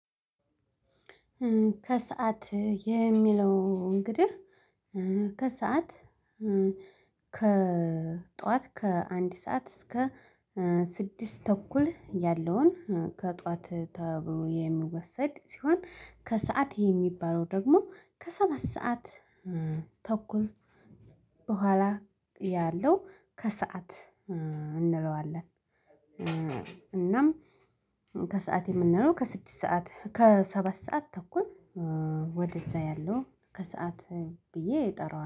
ከሰአት የሚለው እንግዲህ ከሰአት ከጠዋት ከአንድ ሰዓት እስከ ስድስት ተኩል ያለውን ከጧት ተብሎ የሚወሰድ ሲሆን ከሰአት የሚባለው ደግሞ ከሰባት ሰዓት ተኩል በኋላ ያለው ከሰአት እንለዋለን። እናም ከሰአት የምንለው ከስድስት ሰዓት ከሰባት ሰዓት ተኩል ወደዚያ ያለው ከሰአት ብዬ እጠራዋለሁ